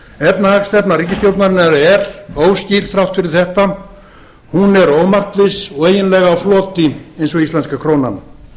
efnahagsstefna ríkisstjórnarinnar er óskýr þrátt fyrir þetta hún er ómarkviss hún er eiginlega á floti eins og íslenska krónan